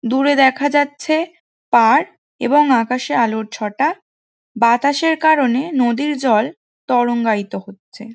দূরে দেখা যাচ্ছে পাড় এবং আকাশে আলোর ছটা বাতাসের কারণে নদীর জল তরঙ্গায়িত হচ্ছে।